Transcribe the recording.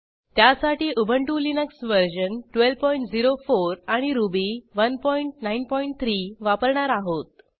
त्यासाठी Ubuntu Linux version 1204 आणि Ruby 193 वापरणार आहोत